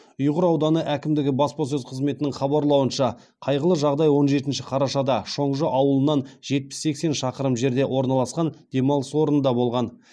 ұйғыр ауданы әкімдігі баспасөз қызметінің хабарлауынша қайғылы жағдай он жетінші қарашада шоңжы ауылынан жетпіс сексен шақырым жерде орналасқан демалыс орнында болған